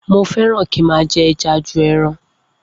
Mo feran ki ma je eja ju ẹran